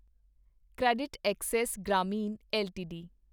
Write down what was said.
CreditAccess Grameen LTD